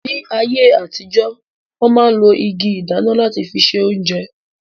Ní ayé àtijọ́, wọ́n ma ń lo igi ìdáná láti fi se oúnjẹ